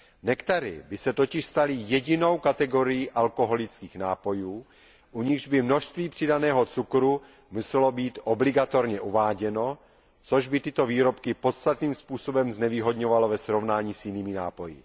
Nektary by se totiž staly jedinou kategorií nealkoholických nápojů, u nichž by množství přidaného cukru muselo být obligatorně uváděno, což by tyto výrobky podstatným způsobem znevýhodňovalo ve srovnání s jinými nápoji.